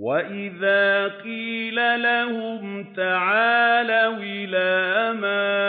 وَإِذَا قِيلَ لَهُمْ تَعَالَوْا إِلَىٰ مَا